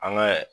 An ka